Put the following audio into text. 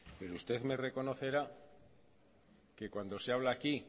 pero usted me reconocerá que cuando se habla aquí